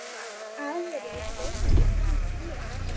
Aðrir lögðu fram fé.